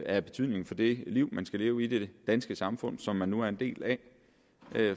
af betydning for det liv man skal leve i det danske samfund som man nu er en del af